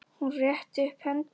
Hún rétti upp hendur.